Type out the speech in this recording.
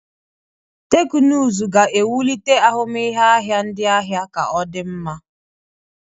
Teknụzụ ga-ewulite ahụmịhe ahịa ndị ahịa ka o di nma.